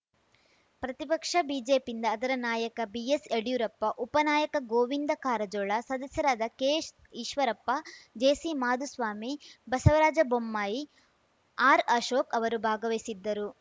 ಪ್ರತಿಪಕ್ಷ ಬಿಜೆಪಿಯಿಂದ ಅದರ ನಾಯಕ ಬಿಎಸ್‌ಯಡಿಯೂರಪ್ಪ ಉಪನಾಯಕ ಗೋವಿಂದ ಕಾರಜೋಳ ಸದಸ್ಯರಾದ ಕೆಎಸ್‌ಈಶ್ವರಪ್ಪ ಜೆಸಿಮಾಧುಸ್ವಾಮಿ ಬಸವರಾಜ ಬೊಮ್ಮಾಯಿ ಆರ್‌ಅಶೋಕ್‌ ಅವರು ಭಾಗವಹಿಸಿದ್ದರು